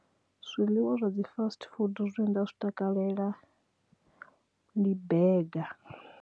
Zwiḽiwa zwa dzi fast food zwine nda zwi takalela ndi bega.